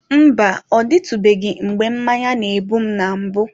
Mba, ọ dịtụbeghị mgbe mmanya na-egbu m na mbụ.